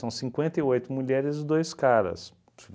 cinquenta e oito mulheres e dois caras.